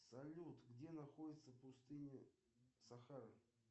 салют где находится пустыня сахара